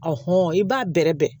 i b'a bɛrɛbɛrɛ